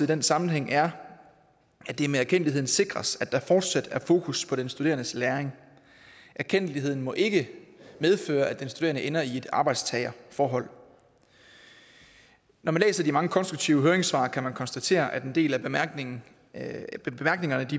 den sammenhæng er at det med erkendtligheden sikres at der fortsat er fokus på den studerendes læring erkendtligheden må ikke medføre at den studerende ender i et arbejdstagerforhold når man læser de mange konstruktive høringssvar kan man konstatere at en del af bemærkningerne